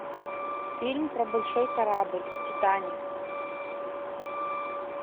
фильм про большой корабль титаник